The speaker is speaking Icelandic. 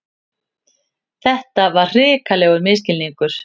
Þetta var hrikalegur misskilningur!